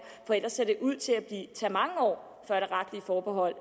for ellers ser det ud til at tage mange år før det retlige forbehold